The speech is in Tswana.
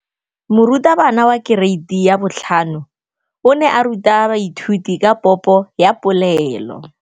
Moratabana wa kereiti ya 5 o ne a ruta baithuti ka popô ya polelô.